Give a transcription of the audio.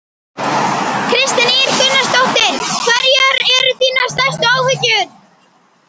Kristín Ýr Gunnarsdóttir: Hverjar eru þínar stærstu áhyggjur?